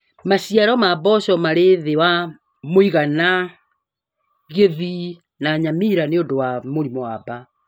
Maciaro ma mboco marĩ thĩ wa mũigana Kisii na Nyamira nĩundu wa mĩrimũ ya mbaa